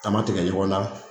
An ma tigɛ ɲɔgɔn na